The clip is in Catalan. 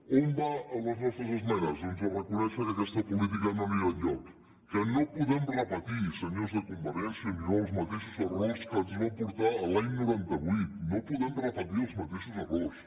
on van les nostres esmenes doncs a reconèixer que aquesta política no anirà enlloc que no podem repetir senyors de convergència i unió els mateixos errors que ens va portar l’any noranta vuit no podem repetir els mateixos errors